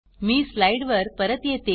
मी slide वर परत येते